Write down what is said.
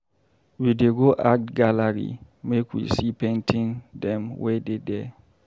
We dey go art gallery make we see painting dem wey dey there.